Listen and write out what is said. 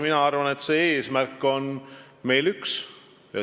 Mina arvan, et eesmärk on meil üks.